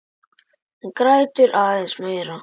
Hún grætur aðeins meira.